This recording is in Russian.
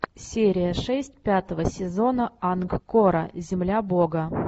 серия шесть пятого сезона ангкора земля бога